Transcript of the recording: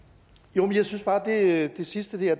jo men jeg synes jo bare at det sidste der